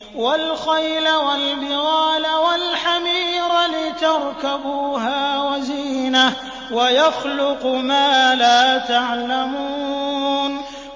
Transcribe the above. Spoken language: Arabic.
وَالْخَيْلَ وَالْبِغَالَ وَالْحَمِيرَ لِتَرْكَبُوهَا وَزِينَةً ۚ وَيَخْلُقُ مَا لَا تَعْلَمُونَ